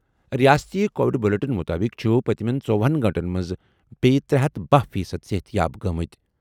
ریاستی covid bulletin مُطٲبِق چُھ پٔتمیٚن ژوہنَ گٲنٛٹَن منٛز بیٚیہِ ترے ہتھ بہہَ فی صد صحتیاب گٔمٕتۍ۔